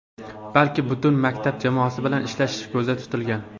balki butun maktab jamoasi bilan ishlash ko‘zda tutilgan.